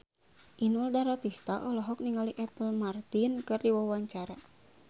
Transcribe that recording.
Inul Daratista olohok ningali Apple Martin keur diwawancara